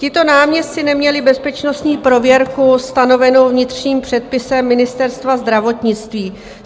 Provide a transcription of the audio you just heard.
Tito náměstci neměli bezpečnostní prověrku stanovenou vnitřním předpisem Ministerstva zdravotnictví.